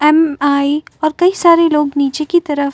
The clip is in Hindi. एम.आई और कई सारे लोग नीचे की तरफ --